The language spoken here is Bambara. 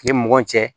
I ni mɔgɔ cɛ